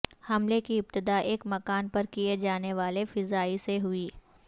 حملے کی ابتدا ایک مکان پر کیے جانے والے فضائی سے ہوئی